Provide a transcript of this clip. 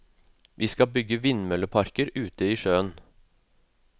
Vi skal bygge vindmølleparker ute i sjøen.